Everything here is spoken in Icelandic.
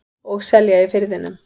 Og selja í Firðinum.